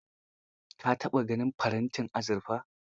Ka taɓa ganin farantin azurfa?